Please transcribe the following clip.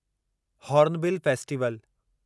hornbill festival